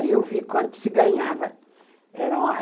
Aí eu vi quanto se ganhava. Era uma